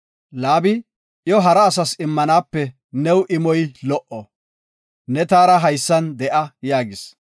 Laabi, “Iyo hara asas immanaape new imoy lo77o, ne taara haysan de7a” yaagis.